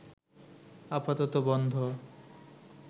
আপাতত বন্ধ